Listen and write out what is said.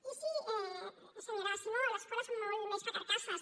i sí senyora simó l’escola és molt més que carcasses